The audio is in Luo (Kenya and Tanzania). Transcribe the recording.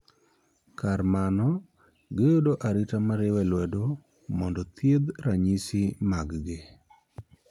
Kar mano, giyudo arita miriwe lwedo mondo thiedh ranyisi mag gi.